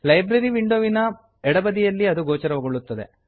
library ವಿಂಡೋವಿನ ಎಡಬದಿಯಲ್ಲಿ ಅದು ಗೋಚರಗೊಳ್ಳುತ್ತದೆ